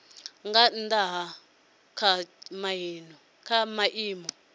nga nnda ha kha maimo